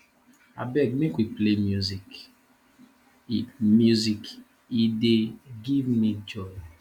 abeg make we play music e music e dey give me joy